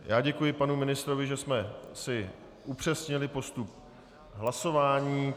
Já děkuji panu ministrovi, že jsme si upřesnili postup hlasování.